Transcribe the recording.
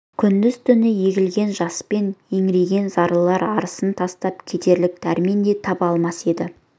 күндіз-түні егілген жаспен еңіреген зарлылар арысын тастап кетерлік дәрмен де таба алмас еді